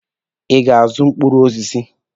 Ị ga-azụ mkpụrụ osisi?